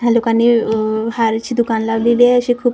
ह्या लोकांनी आह हारचे दुकानं लावलेली आहे अशी खूप --